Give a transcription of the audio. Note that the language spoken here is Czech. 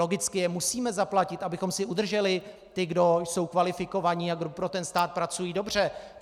Logicky je musíme zaplatit, abychom si udrželi ty, kdo jsou kvalifikovaní a kdo pro stát pracují dobře.